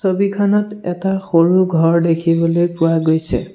ছবিখনত এটা সৰু ঘৰ দেখিবলৈ পোৱা গৈছে।